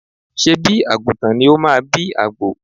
Ṣé̀bí àgùntàn ni ó máa bí àgbò?